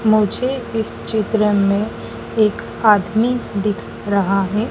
मुझे इस चित्र में एक आदमी दिख रहा है।